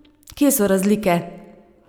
Kje so razlike?